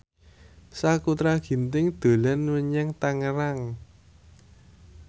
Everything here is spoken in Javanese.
Sakutra Ginting dolan menyang Tangerang